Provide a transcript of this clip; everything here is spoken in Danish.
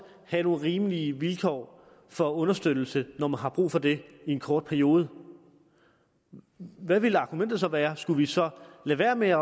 have nogle rimelige vilkår for understøttelse når man har brug for det i en kort periode hvad ville argumentet så være skulle vi så lade være med at